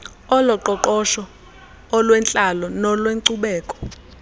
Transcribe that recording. oloqoqosho olwentlalo nolwenkcubeko